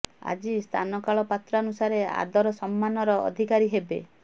ଆଜି ସ୍ଥାନ କାଳ ପାତ୍ରାନୁସାରେ ଆଦର ସମ୍ମାନର ଅଧିକାରୀ ହେବେ